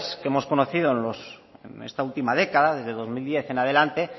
que hemos conocido en esta última década desde dos mil diez en adelante